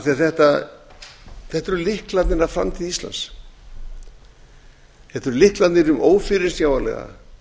af því að þetta eru lyklarnir að framtíð íslands þetta eru lyklarnir um ófyrirsjáanlega